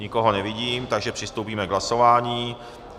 Nikoho nevidím, takže přistoupíme k hlasování.